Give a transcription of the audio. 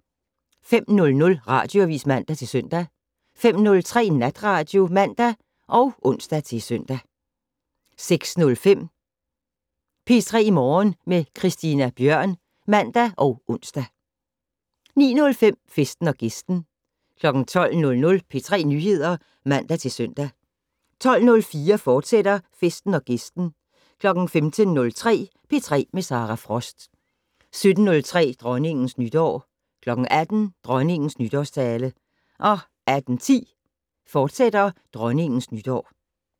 05:00: Radioavis (man-søn) 05:03: Natradio (man og ons-søn) 06:05: P3 Morgen med Christina Bjørn (man og ons) 09:05: Festen & Gæsten 12:00: P3 Nyheder (man-søn) 12:04: Festen & Gæsten, fortsat 15:03: P3 med Sara Frost 17:03: Dronningens Nytår 18:00: Dronningens nytårstale 18:10: Dronningens Nytår, fortsat